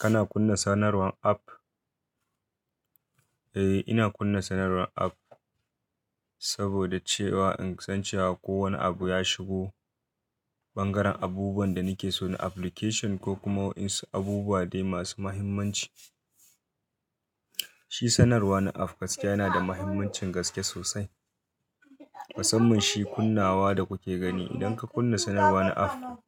Kana kunna sanarwar app? Eh, ina kunna sanarwar app saboda cewa in san cewa ko wane abu ya shigo, bangaren abubuwan da nake so na application ko kuma waɗansu abubuwa dai masu muhimmanci. Shi sanarwa na app gaskiya yana da muhimmancin gaske sosai. Musamman shi kunnawa da kuke gani idan ka kunna sanarwa na app,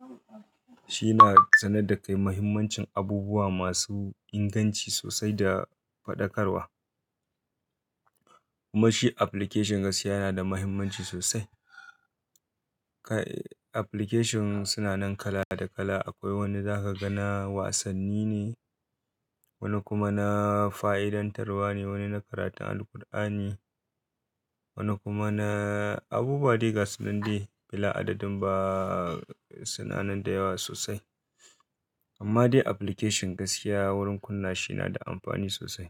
shi na sanar da kai muhimmancin abubuwa masu inganci sosai da faɗakarwa. Kuma shi application gaskiya yana da muhimmanci sosai. Kai application suna nan kala da kala. Akwai wanda za ka ga na wasanni ne, wani kuma na fa'idantarwa ne, wani na karatun Alqur'ani, wani kuma na abubuwa dai gasan dai. Bila adadin ba suna nan da yawa sosai. Amma dai application gaskiya wurin kunna shi yana da amfani sosai.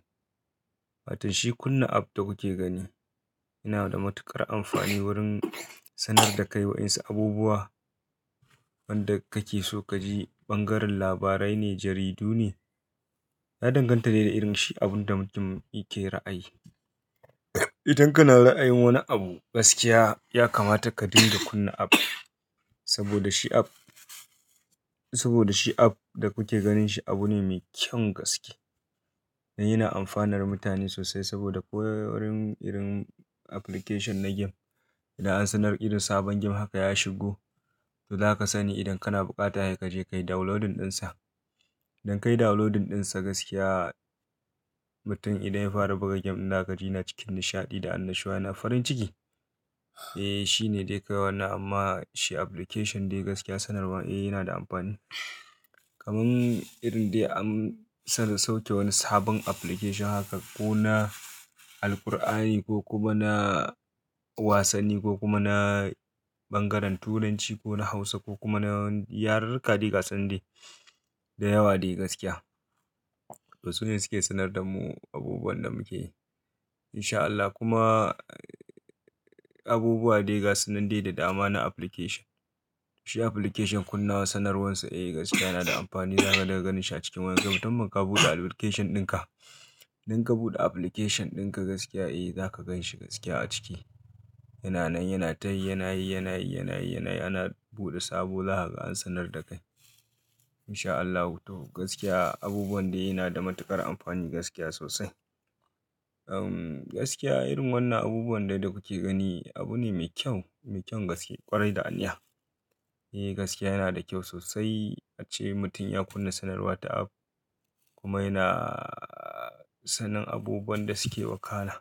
Watan shi kunna app da kuke gani yana da matuƙar amfani wurin sanar da kai waɗansu abubuwa. Wanda kake so ka ji bangaren labarai ne, jaridu ne, ya danganta ne da irin shi abun da mutum yake ra'ayi. Idan kana ra'ayin wani abu gaskiya ya kamata ka dinga kunna app. Saboda shi app, saboda shi app da kuke ganin shi abu ne mai kyan gaske. Yana amfanar mutane sosai saboda ko wurin irin application na game, idan an sanar irin sabon game haka ya shigo, to zaka sani idan kana bukata he ka je ka yi downloadin dinsa. Idan ka yi downloadin dinsa gaskiya, mutum idan ya fara buga game na, ka ji yana cikin nishaɗi da annashuwa yana farin ciki. Eh, shi ne dai kai wannan amma shi application dai gaskiya sanarwa eh yana da amfani. Kaman irin dai an sanar sauke wani sabon application haka ko na Alqur'ani, ko kuma na wasanni, ko kuma na bangaren Turanci, ko na Hausa, ko kuma na yaruruka dai gasunan dai, da yawa dai gaskiya. To su ne suke sanar da mu abubuwan da muke yi. In sha Allah kuma abubuwa dai gasunan dai da dama na application. Shi application kunnawa sanarwarsa eh gaskiya yana da amfani. Zaka dinga ganin shi a cikin wani lokaci. Mutum in ka buɗe application dinka, idan ka buɗe application dinka gaskiya eh za ka gan shi gaskiya a ciki. Yana nan, yana ta yi, yana yi, yana yi, yana yi, yana buɗe sabo. Zakaga an sanar da kai. In sha Allah gaskiya abubuwan dai yana da matuƙar amfani gaskiya sosai. Um gaskiya irin wannan abubuwan dai da kuke gani abu ne mai kyau, mai kyan gaske ƙwarai da aniya. Eh gaskiya yana da kyau sosai ace mutum ya kunna sanarwa ta app kuma yana sanin abubuwan da suke wakana.